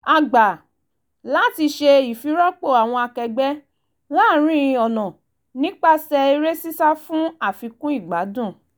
a gbà láti ṣe ìfirọ́pò àwọn akẹgbẹ́ láàrin ọ̀nà nípasẹ̀ eré sísá fún àfikún ìgbádùn